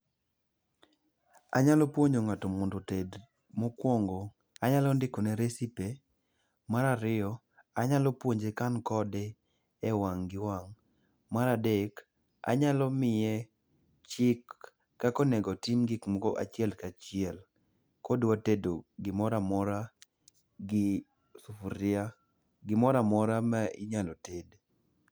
Anyalo puonjo ng'ato mondo oted. Mokwongo, anyalo ndikone recipe. Mar ariyo, anyalo puonje ka an kode e wang' gi wang'. Mar adek, anyalo miye chik kaka onego otim gikmoko achiel ka chiel kodwa tedo gimora mora gi sufuria. Gimora mora ma inyalo ted.